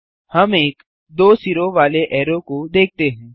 हम एक दो सिरों वाले ऐरो को देखते हैं